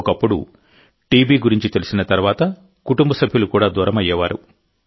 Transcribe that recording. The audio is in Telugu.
ఒకప్పుడు టీబీ గురించి తెలిసిన తర్వాతకుటుంబ సభ్యులు కూడా దూరమయ్యేవారు